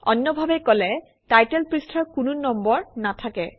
অন্যভাৱে কলে টাইটেল পৃষ্ঠাৰ কোনো নম্বৰ নাথাকে